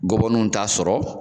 Gɔbɔniw t'a sɔrɔ